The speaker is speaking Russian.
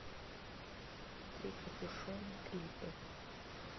трикопюшон клипы